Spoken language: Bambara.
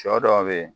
Sɔ dɔw be ye